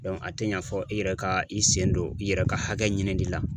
a tɛ ɲa fɔ i yɛrɛ ka i sen don i yɛrɛ ka hakɛ ɲinili la.